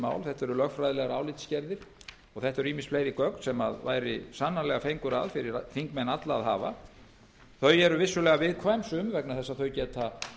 mál þetta eru lögfræðilegar álitsgerðir og þetta eru ýmis fleiri gögn sem sannarlega væri fengur að fyrir þingmenn alla að hafa sum eru vissulega viðkvæm og geta